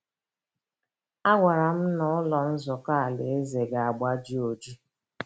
A gwara m na Ụlọ Nzukọ Alaeze ga-agbaji oji! ”